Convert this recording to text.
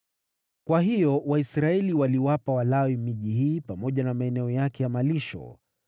Kwa hiyo Waisraeli waliwapa Walawi miji hii pamoja na maeneo yake ya malisho.